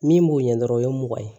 Min b'o ɲɛ dɔrɔn o ye mugan ye